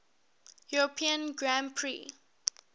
european grand prix